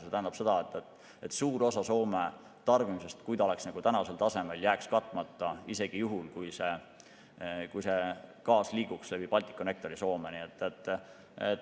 See tähendab seda, et suur osa Soome tarbimisest, kui see oleks tänasel tasemel, jääks katmata isegi juhul, kui see gaas liiguks läbi Balticconnectori Soome.